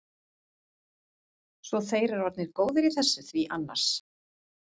Svo þeir eru orðnir góðir í þessu því annars.